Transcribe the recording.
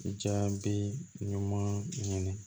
Jaabi ɲuman ɲini